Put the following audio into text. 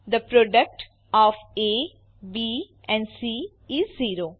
the product of A B and C is zero